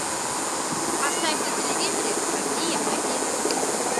поставь на телевизоре россия один